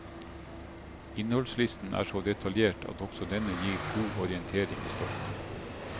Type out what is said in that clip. Innholdslisten er så detaljert at også denne gir god orientering i stoffet.